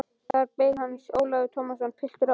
Þar beið hans Ólafur Tómasson, piltur á átjánda ári.